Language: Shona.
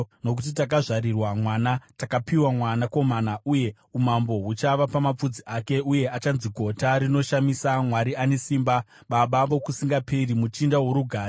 Nokuti takazvarirwa mwana, takapiwa mwanakomana, uye umambo huchava pamapfudzi ake. Uye achanzi Gota Rinoshamisa, Mwari Ane Simba, Baba Vokusingaperi, Muchinda woRugare.